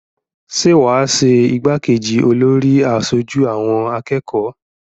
Ṣé wà á ṣe igbákejì olórí aṣojú àwọn akẹ́kọ̀ọ́?